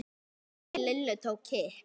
Maginn í Lillu tók kipp.